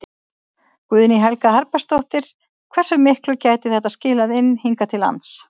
Guðný Helga Herbertsdóttir: Hversu miklu gæti þetta skilað inn hingað til lands?